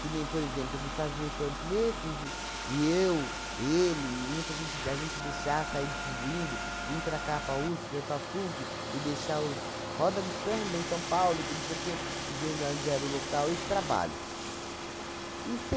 que nem, por exemplo, de fazer fanpletos, e e eu, ele, e muita gente, da gente deixar sair distribuindo, vim para cá, para USP, e para PUC, e deixar os Roda de Samba em São Paulo, que não sei o quê, dizendo aonde era o local, esse trabalho. E